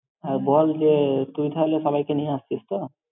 আর বল যে, তুই তাহলে সবাইকে নিয়ে আসছিস তো?